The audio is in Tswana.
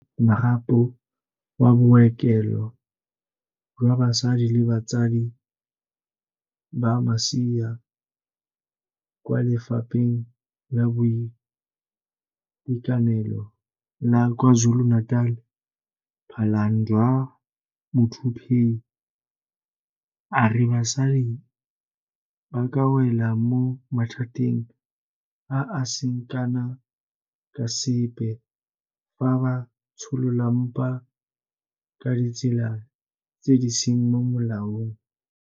Mokaedi yo a Tshwereng Marapo wa Bookelo jwa Basadi le Batsadi ba Masea kwa Lefapheng la Boitekanelo la KwaZulu-Natal, Phalanndwa Muthuphei, a re basadi ba ka wela mo mathateng a a seng kana ka sepe fa ba tsholola mpa ka ditsela tse di seng mo molaong.